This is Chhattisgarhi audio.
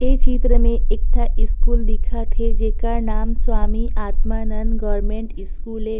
इस चित्र में एक ठ स्कूल दिखत हे जेकर नाम स्वामी आत्मानंद स्कूल ए --